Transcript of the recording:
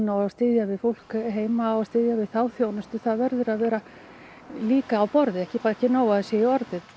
og styðja við fólk heima og styðja við þá þjónustu það verður að vera á borði ekki bara í orði